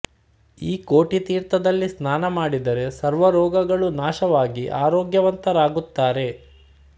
ಈ ಕೋಟಿತೀರ್ಥದಲ್ಲಿ ಸ್ನಾನ ಮಾಡಿದರೆ ಸರ್ವ ರೋಗಗಳು ನಾಶವಾಗಿ ಆರೋಗ್ಯವಂತರಾಗುತ್ತಾರೆ